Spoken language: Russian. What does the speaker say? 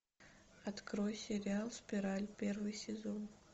открой сериал спираль первый сезон